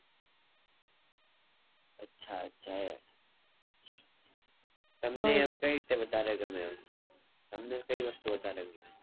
`અચ્છા અચ્છા તમને એમ કય રીતે વધારે ગમે તમને કઈ વસ્તુ વધારે ગમે